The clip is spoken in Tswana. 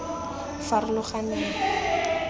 farologaneng